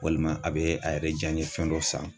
Walima a bɛ a yɛrɛ ja ɲɛfɛn dɔ san